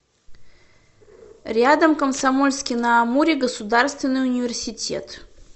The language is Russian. рядом комсомольский на амуре государственный университет